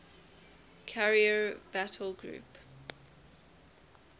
carrier battle group